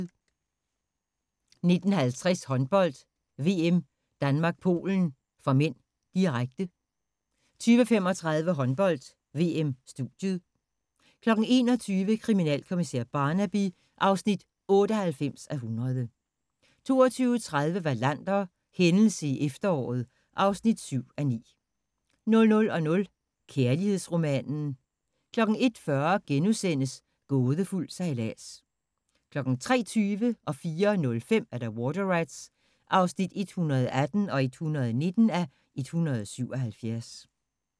19:50: Håndbold: VM - Danmark-Polen (m), direkte 20:35: Håndbold: VM - studiet 21:00: Kriminalkommissær Barnaby (98:100) 22:30: Wallander: Hændelse i efteråret (7:9) 00:00: Kærlighedsromanen 01:40: Gådefuld sejlads * 03:20: Water Rats (118:177) 04:05: Water Rats (119:177)